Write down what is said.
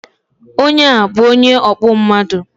Onye a bu onye ọkpụ mmadu